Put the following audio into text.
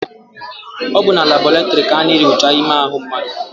Ọ bụ na labọretịrị ka a na-enyocha ime ahụ mmadụ.